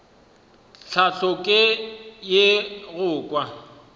tlhahlo ke ye go kwa